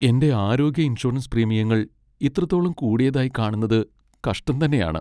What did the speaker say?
എന്റെ ആരോഗ്യ ഇൻഷുറൻസ് പ്രീമിയങ്ങൾ ഇത്രത്തോളം കൂടിയതായി കാണുന്നത് കഷ്ടം തന്നെയാണ് .